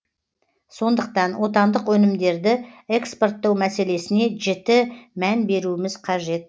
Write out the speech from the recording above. сондықтан отандық өнімдерді экспорттау мәселесіне жіті мән беруіміз қажет